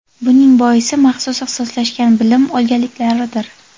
Buning boisi, maxsus ixtisoslashgan bilim olganliklaridir.